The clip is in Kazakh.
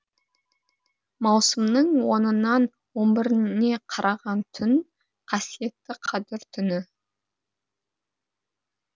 маусымның онынан он біріне қараған түн қасиетті қадір түні